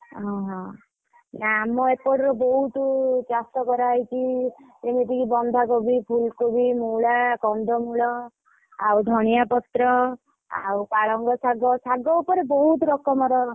ଅହ! ନା ଆମ ଏପଟର ବହୁତ୍ ଚାଷ କରାହେଇଛି। ଯେମିତିକି ବନ୍ଧାକୋବି, ଫୁଲକୋବି, ମୂଳା, କନ୍ଧମୂଳ ଆଉ ଧନିଆ ପତ୍ର। ଆଉ ପାଳଙ୍ଗ ଶାଗ। ଶାଗ ଉପରେ ବହୁତ୍ ରକମର।